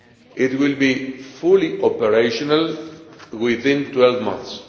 It will be fully operational within 12 months.